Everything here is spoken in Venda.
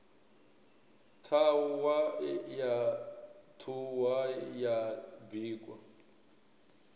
ṱhahwa ya ṱhuhwa ya bikwa